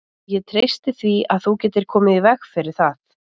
Ég treysti því, að þú getir komið í veg fyrir það